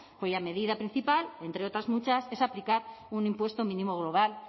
cuya medida principal entre otras muchas es aplicar un impuesto mínimo global